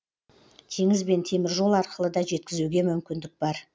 теңіз бен теміржол арқылы да жеткізуге мүмкіндік бар